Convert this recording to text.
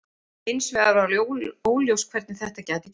Hins vegar var óljóst hvernig þetta gæti gerst.